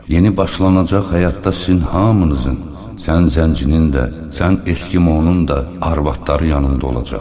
Yeni başlanacaq həyatda sizin hamınızın, sən zəncirinin də, sən eskimosunun da arvadları yanında olacaq.